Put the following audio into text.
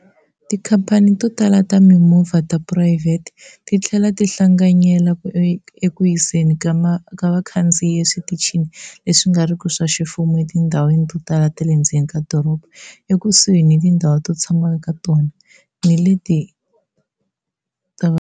Tikhampani to tala ta timovha ta phurayivhete ti tlhela ti hlanganyela eku yiseni ka vakhandziyi eswitichini leswi nga riki swa ximfumo etindhawini to tala ta le ndzeni ka doroba, ekusuhi ni tindhawu to tshama eka tona ni leti.